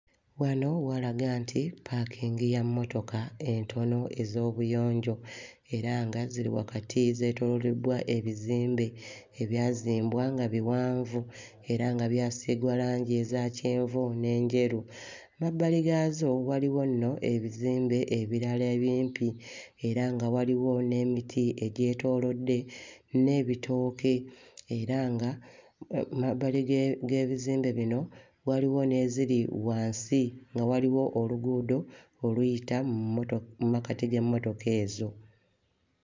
Wano walaga nti paakingi ya mmotoka entono ez'obuyonjo era nga ziri wakati zeetooloolebbwa ebizimbe ebyazimbwa nga biwanvu era nga byasiigwa langi eza kyenvu n'enjeru. Emabbali gaazo waliwo nno ebizimbe ebirala ebimpi era nga waliwo n'emiti egyetoolodde, n'ebitooke era nga mu mabbali ge... g'ebizimbe bino waliwo n'eziri wansi nga waliwo oluguudo oluyita mu mmoto... mu makkati g'emmotoka ezo.